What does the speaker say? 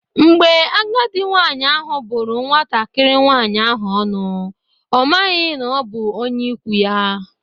Mgbe agadi nwaanyị ahụ bụrụ nwatakịrị nwaanyị ahụ ọnụ, ọ maghị na ọ bụ onye ikwu ya.